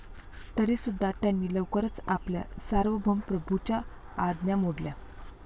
तरीसुद्धा, त्यांनी लवकरच आपल्या सार्वभौम प्रभूच्या आज्ञा मोडल्या.